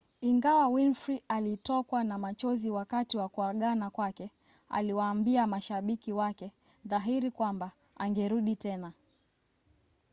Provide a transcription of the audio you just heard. ingawa winfrey alitokwa na machozi wakati wa kuagana kwake aliwaambia mashabiki wake dhahiri kwamba angerudi tena